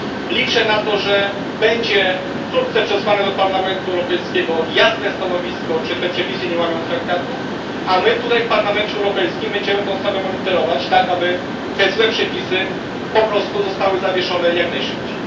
Liczę na to, że będzie wkrótce przesłane do Parlamentu Europejskiego jasne stanowisko, czy te przepisy nie łamią traktatów, a my tutaj w Parlamencie Europejskim będziemy tę sprawę monitorować, tak aby te złe przepisy po prostu zostały zawieszone jak najszybciej.